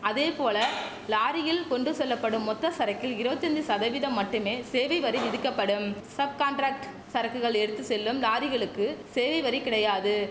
அதேபோல லாரியில் கொண்டு செல்லப்படும் மொத்த சரக்கில் இருவத்தஞ்சி சதவிதம் மட்டுமே சேவை வரி விதிக்கப்படும் சப் கான்ட்ராக்ட் சரக்குகள் எடுத்து செல்லும் லாரிகளுக்கு சேவை வரி கிடையாது